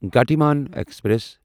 Gatimaan express